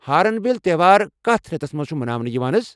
Horn bill تہوار کتھ رٮ۪تَس مَنٛز چھُ مناونہٕ یِوان حض؟